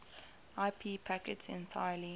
ip packets entirely